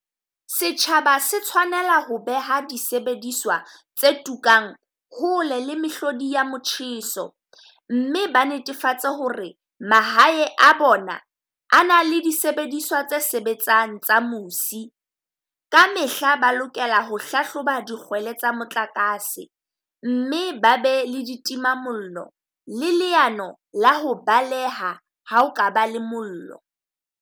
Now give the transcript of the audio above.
Setjhaba se tshwanela ho beha disebediswa tse tukang hole le mehlodi ya motjheso, mme ba netefatse ho re mahae a bona a na le disebediswa tse sebetsang tsa musi. Ka mehla ba lokela ho hlahloba dikgwele tsa motlakase mme ba be le ditimamollo, le leano la ho baleha ha o ka ba le mollo.